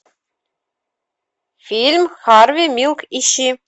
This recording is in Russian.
фильм харви милк ищи